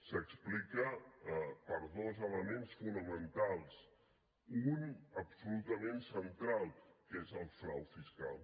s’explica per dos elements fonamentals un d’absolutament central que és el frau fiscal